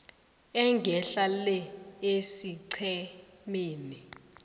engehla le esiqhemeni